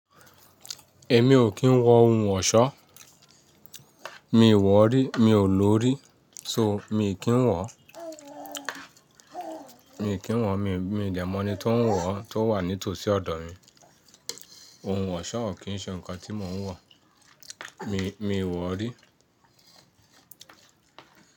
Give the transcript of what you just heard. Èmi ò kí ń wọ ohun òṣọ́. Mi ò wọ̀ rí, mi ò lò rí. So mi kì ń wọ̀. Mi kì ń wọ̀, mi, mi dẹ́mọ̀ni tó ń wọ̀ tó wà ní tòsí ọ̀dọ̀ mi. Ohun òṣọ́ ò kí ń ṣe nǹkan tí mò ń wọ̀. Mi, mi ò wọ̀ rí.